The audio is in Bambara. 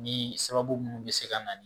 Ni sababu munnu bɛ se ka na ni